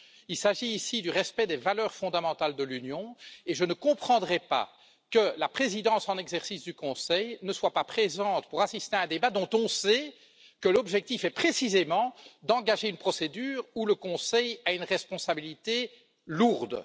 Il s'agit ici du respect des valeurs fondamentales de l'Union et je ne comprendrais pas que la présidence en exercice du Conseil ne soit pas présente pour assister à un débat dont on sait que l'objectif est précisément d'engager une procédure où le Conseil a une responsabilité lourde.